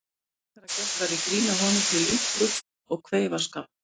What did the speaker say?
Frekar að gert væri grín að honum fyrir linku og kveifarskap.